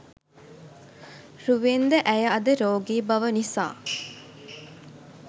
රුවෙන් ද ඇය අද රෝගී බව නිසා